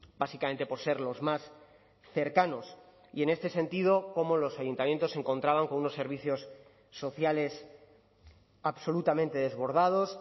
básicamente por ser los más cercanos y en este sentido como los ayuntamientos se encontraban con unos servicios sociales absolutamente desbordados